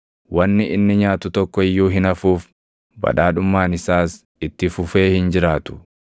Wanni inni nyaatu tokko iyyuu hin hafuuf; badhaadhummaan isaas itti fufee hin jiraatu.